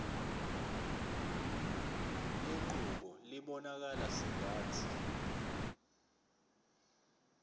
lenqubo ibonakala sengathi